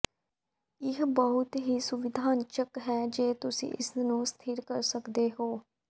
ਇਹ ਬਹੁਤ ਹੀ ਸੁਵਿਧਾਜਨਕ ਹੈ ਜੇ ਤੁਸੀਂ ਇਸ ਨੂੰ ਅਸਥਿਰ ਕਰ ਸਕਦੇ ਹੋ